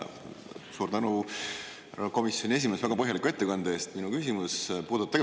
Suur tänu, härra komisjoni esimees, väga põhjaliku ettekande eest!